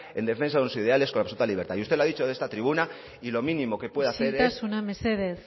en defensa de unos ideales con absoluta libertad y usted lo ha dicho en esta tribuna y lo mínimo que puede hacer isiltasuna mesedez